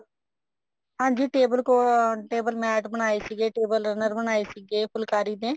ਹਾਂਜੀ table table mat ਬਣਾਏ ਸੀਗੇ table runner ਬਣਾਏ ਸੀਗੇ ਫੁਲਕਾਰੀ ਦੇ